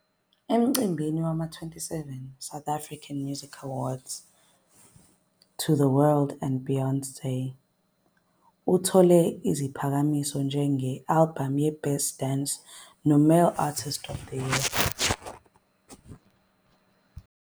Emcimbini wama-27 wama - South African Music Awards "To the World and Beyond", uthole iziphakamiso njenge-albhamu yeBest Dance noMale Artist of the Year.